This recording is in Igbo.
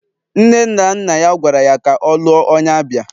Nne na nna ya gwara ya ka ọ lụọ onye Abia